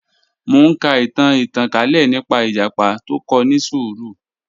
Mọ̀ n ká ìtàn ìtànkalẹ̀ nípa ìjàpá tó kò ni ṣúrù